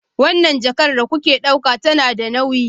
Wannan jakar da kuke ɗauka tana da nauyi